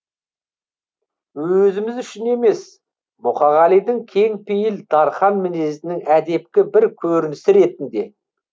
өзіміз үшін емес мұқағалидің кең пейіл дарқан мінезінің әдепкі бір көрінісі ретінде